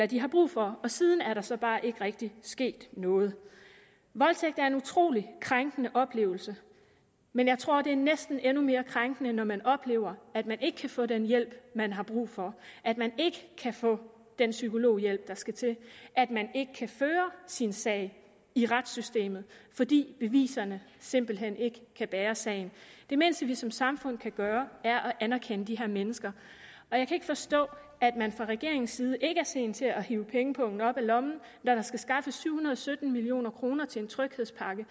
de har brug for siden er der så bare ikke rigtig sket noget voldtægt er en utrolig krænkende oplevelse men jeg tror det er næsten endnu mere krænkende når man oplever at man ikke kan få den hjælp man har brug for at man ikke kan få den psykologhjælp der skal til at man ikke kan føre sin sag i retssystemet fordi beviserne simpelt hen ikke kan bære sagen det mindste vi som samfund kan gøre er at anerkende de her mennesker og jeg kan ikke forstå at man fra regeringens side ikke er sen til at hive pengepungen op af lommen når der skal skaffes syv hundrede og sytten million kroner til en tryghedspakke